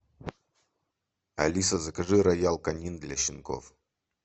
алиса закажи роял канин для щенков